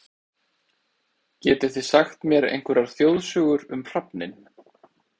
Getið þið sagt mér einhverjar þjóðsögur um hrafninn?